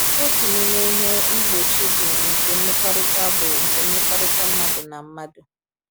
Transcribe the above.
Otu n’ime ihe mgbochi bụ nke mmekọrịta bụ nke mmekọrịta mmadụ na mmadụ.